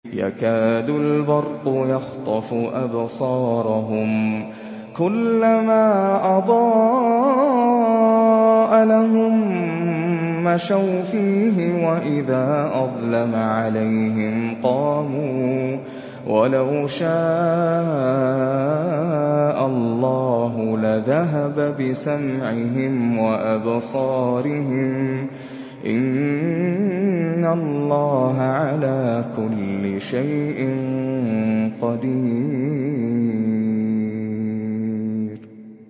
يَكَادُ الْبَرْقُ يَخْطَفُ أَبْصَارَهُمْ ۖ كُلَّمَا أَضَاءَ لَهُم مَّشَوْا فِيهِ وَإِذَا أَظْلَمَ عَلَيْهِمْ قَامُوا ۚ وَلَوْ شَاءَ اللَّهُ لَذَهَبَ بِسَمْعِهِمْ وَأَبْصَارِهِمْ ۚ إِنَّ اللَّهَ عَلَىٰ كُلِّ شَيْءٍ قَدِيرٌ